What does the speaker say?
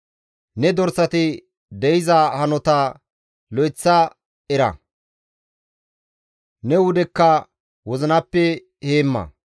Ne dorsati de7iza hanota lo7eththada era; ne wudekka wozinappe heemma.